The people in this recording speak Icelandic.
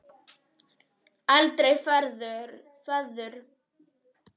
Aldrei friður.